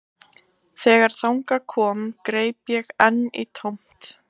Þegar þangað kom greip ég enn í tómt